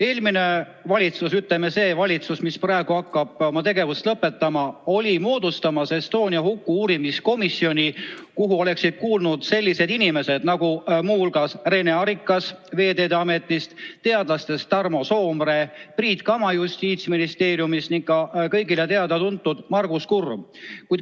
Eelmine valitsus või, ütleme, see valitsus, kes praegu hakkab oma tegevust lõpetama, oli moodustamas Estonia huku uurimise komisjoni, kuhu oleksid muu hulgas kuulnud sellised inimesed nagu Rene Arikas Veeteede Ametist, teadlastest Tarmo Soomere, Priit Kama Justiitsministeeriumist ning ka kõigile teada-tuntud Margus Kurm.